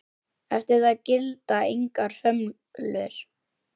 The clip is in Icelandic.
Eftir það gilda engar hömlur.